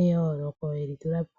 eyooloko yeli tulapo.